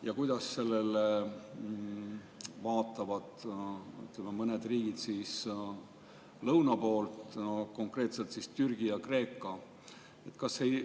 Ja kuidas sellele vaatavad mõned riigid lõuna poolt, konkreetselt Türgi ja Kreeka?